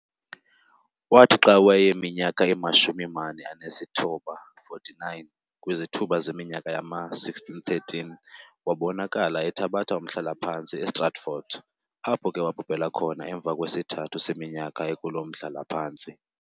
Waathi xa wayeminyaka imashumi-mane anesithoba, 49, kwizithuba zeminyaka yama-1613, wabonakala ethabatha umhlalaphantsi e-Stratford, apho ke wabhubhela khona emva kwesithathu seminyaka ekuloo mhlalaphantsi.